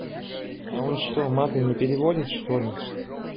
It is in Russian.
а он что маты не переводит что ли